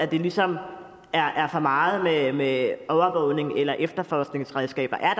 det ligesom er er for meget med med overvågnings eller efterforskningsredskaber er